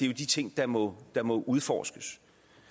jo de ting der må der må udforskes